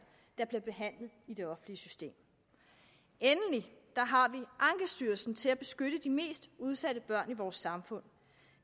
der bliver behandlet i det offentlige system endelig har vi ankestyrelsen til at beskytte de mest udsatte børn i vores samfund